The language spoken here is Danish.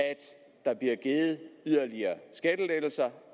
der bliver givet yderligere skattelettelser